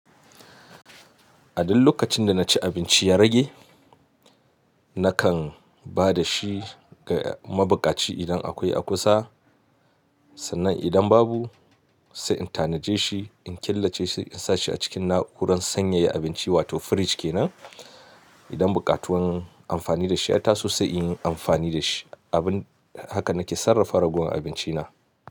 A duk lokacin da na ci abinci ya rage, nakan ba da shi ga mabukaci idan akwai a kusa, sannan idan babu sai in tanaje shi, in killace shi, in sa shi a cikin na'urar sanyaya abinci wato fridge kenan, idan bukatun amfani da shi ya taso sai in yi amfani da shi. Abin haka nake sarrafa ragowar abinci na.